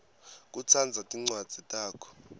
kutsandza tincwadzi takho